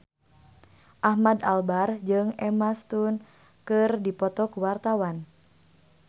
Ahmad Albar jeung Emma Stone keur dipoto ku wartawan